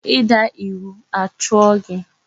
I daa iwu a chụọ gị.